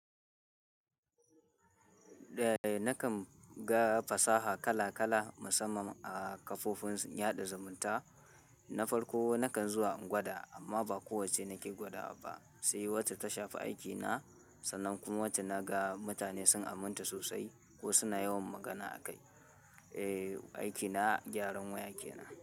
Eh nakan ga fasaha kala kala musamman a kafofin yaɗa zumunta. Na farko nakan zuwa in gwada amma ba kowacce nake gwadawa ba, sai wacce ta shafi aikina sannan kuma wacce naga mutane sun aminta sosai ko suna yawan magana akai. Eh aikina gyaran waya kenan.